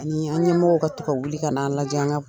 Ani an ɲɛmɔgɔw ka to ka wuli kana lajɛ kan